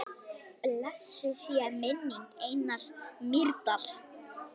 Blessuð sé minning Einars Mýrdal.